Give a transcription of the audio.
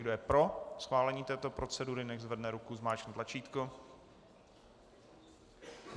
Kdo je pro schválení této procedury, nechť zvedne ruku, zmáčkne tlačítko.